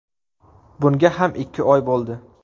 Bunga ham ikki oy bo‘ldi”.